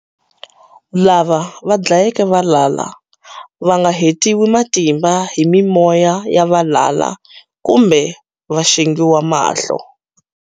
Lava va dlayeke valala vanga hetiwi matimba hi mimoya yavalala kumbe va xengiwa mahlo.